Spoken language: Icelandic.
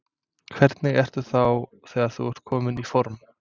Hvernig ertu þá þegar þú ert kominn í form?